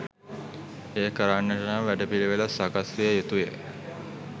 එය කරන්නට නම් වැඩ පිළිවෙළක් සකස් විය යුතුය.